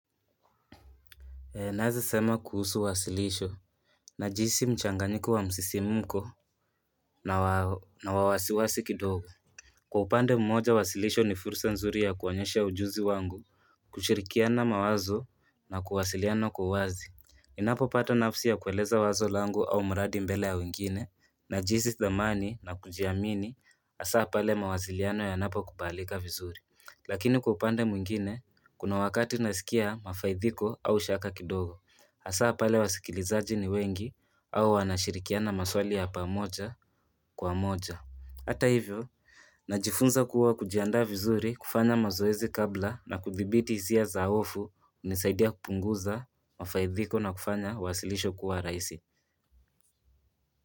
Naeza sema kuhusu wasilisho, na jinsi mchanganyiko wa msisimko na wawasiwasi kidogo. Kwa upande mmoja wasilisho ni fursa nzuri ya kuonyesha ujuzi wangu, kushirikiana mawazo na kuwasiliano kwa uwazi. Ninapopata nafsi ya kueleza wazo langu au mradi mbele ya wengine, na jihisi dhamani na kujiamini hasa pale mawasiliano yanapo kubalika vizuri. Lakini kwa upande mwingine, kuna wakati nasikia mafaidhiko au shaka kidogo Hasaa pale wa sikilizaji ni wengi au wanashirikiana maswali ya pamoja kwa moja Hata hivyo, najifunza kuwa kujianda vizuri kufanya mazoezi kabla na kuthibiti hisia zaofu unisaidia kupunguza mafaidhiko na kufanya wasilisho kuwa raisi.